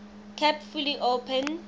kept fully open